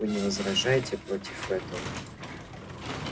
вы не возражаете против этого